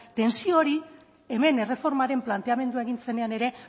tentsio hori hemen erreformaren planteamendua egin zenean ere